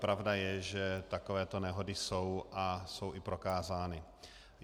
Pravda je, že takové nehody jsou a jsou i prokázány.